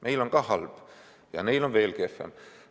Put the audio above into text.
Meil on ka halb ja neil on veel kehvem.